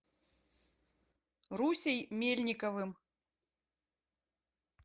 русей мельниковым